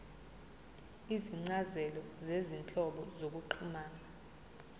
izincazelo zezinhlobo zokuxhumana